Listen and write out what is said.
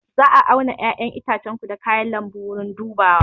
Za a auna 'ya'yan itacenku da kayan lambu a wurin dubawa